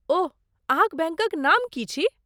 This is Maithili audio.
ओह, अहाँक बैंकक नाम की छी?